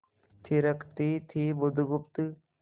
थिरकती थी बुधगुप्त